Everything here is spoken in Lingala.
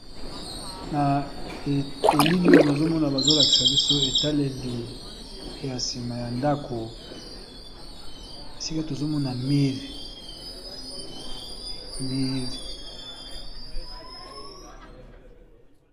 Na elili oyo nazomona bazolakisa biso etaleli ya sima ya ndako esika tozomona mir mir